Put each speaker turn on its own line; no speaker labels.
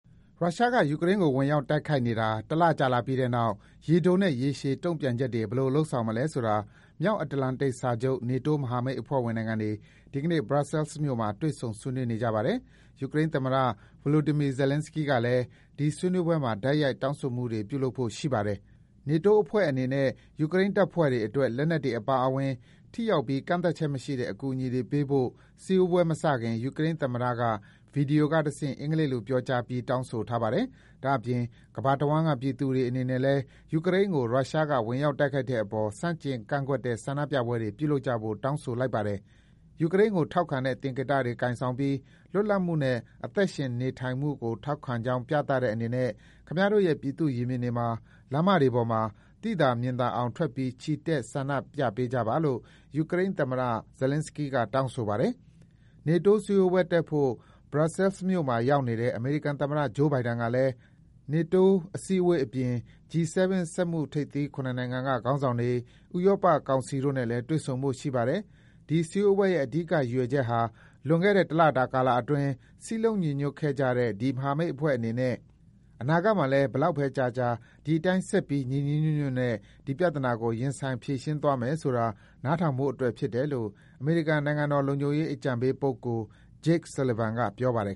ရုရှားက ယူကရိန်းကို ဝင်ရောက်တိုက်ခိုက်နေတာ တလကြာလာပြီးတဲ့နောက် ရေတိုနဲ့ ရေရှည် တုံ့ပြန်ချက်တွေ ဘယ်လို လုပ်ဆောင်မလဲဆိုတာ မြောက်အတ္တလန်တိတ်စာချုပ် NATO မဟာမိတ်အဖွဲ့ဝင်နိုင်ငံတွေ ဒီကနေ့ Brussels မြို့မှာ တွေ့ ဆုံ ဆွေးနွေးနေကြပါတယ်။ ယူကရိန်းသမ္မတ Volodymyr Zelenskyy ကလည်း ဒီဆွေးနွေးပွဲမှာ တိုက်ရိုက်တောင်းဆိုမှုတွေ လုပ်ဖို့ရှိပါတယ်။ နေတိုးအဖွဲ့အနေနဲ့ ယူကရိန်းတပ်ဖွဲ့တွေအတွက် လက်နက်တွေအပါအဝင် ”ထိရောက်ပြီး ကန့်သတ်ချက်မရှိတဲ့” အကူအညီတွေ ပေးဖို့ စည်းဝေးပွဲမစခင် ယူကရိန်းသမ္မတက ဗွီဒီယိုကတဆင့် အင်္ဂလိပ်လိုပြောကြားပြီး တောင်းဆိုထားပါတယ်။ ဒါ့အပြင် ကမ္ဘာတဝန်းက ပြည်သူတွေအနေနဲ့လည်း ယူကရိန်းကို ရုရှားက ဝင်ရောက်တိုက်ခိုက်တဲ့အပေါ် ဆန့်ကျင်တဲ့ဆန္ဒပြပွဲတွေ ပြုလုပ်ကြဖို့ တောင်းဆိုလိုက်ပါတယ်။ “ယူကရိန်းကိုထောက်ခံတဲ့သင်္ကေတတွေ ကိုင်ဆောင်ပြီး လွတ်လပ်မှုနဲ့ အသက်ရှင်သန်နေထိုင်မှုကို ထောက်ခံကြောင်းပြသတဲ့အနေနဲ့ ခင်ဗျားတို့ရဲ့ ပြည်သူ့ရင်ပြင်တွေမှာ၊ လမ်းမတွေပေါ်မှာ သိသာမြင်သာအောင် ထွက်ပြီး ချီတက် ဆန္ဒပြကြပါ။” လို့ ယူကရိန်းသမ္မတ Zelenskyy က တောင်းဆိုပါတယ်။ နေတိုးစည်းဝေးပွဲတက်ဖို့ Brussels မှာရောက်နေတဲ့ အမေရိကန်သမ္မတ Joe Biden ဟာလည်း NATO စည်းဝေးပွဲအပြင် G-7 စက်မှုထိပ်သီး ၇ နိုင်ငံက ခေါင်းဆောင်တွေ၊ ဥရောပကောင်စီတို့နဲ့လည်း တွေ့ဆုံဖို့ရှိပါတယ်။ ဒီ စည်းဝေးပွဲရဲ့ အဓိကရည်ရွယ်ချက်ဟာ လွန်ခဲ့တဲ့ တလတာကာလအတွင်း စည်းလုံးညီညွတ်ခဲ့ကြတဲ့ ဒီ မဟာမိတ်အဖွဲ့အနေနဲ့ အနာဂတ်မှာလည်း ဘယ်လောက်ပဲကြာကြာ ဒီအတိုင်း ဆက်ပြီး ညီညီညွတ်ညွတ်နဲ့ ဒီပြဿနာကို ရင်ဆိုင် ဖြေရှင်းသွားမယ်ဆိုတာ နားထောင်ဖို့အတွက်ဖြစ်တယ်လို့ အမေရိကန် နိုင်ငံတော်လုံခြုံရေးအကြံပေးပုဂ္ဂိုလ် Jake Sullivan က ပြောပါတယ်